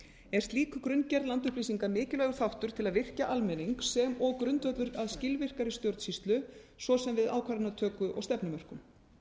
er slík grunngerð landupplýsinga mikilvægur þáttur til að virkja almenning sem og grundvöllur að skilvirkari stjórnsýslu svo sem við ákvarðanatöku og stefnumörkun